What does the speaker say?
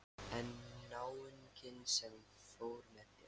En náunginn sem fór með þér?